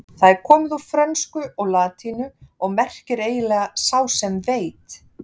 Það er komið úr frönsku og latínu og merkir eiginlega sá sem veit.